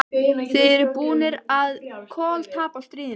Þið eruð búnir að koltapa stríðinu!